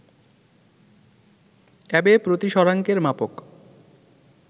Abe প্রতিসরাংকের মাপক